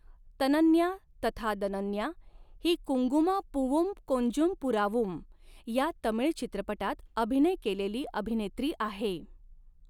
तनन्या तथा दनन्या ही कुंगुमा पूवुम कोंजुम पुरावुम या तमिळ चित्रपटात अभिनय केलेली अभिनेत्री आहे.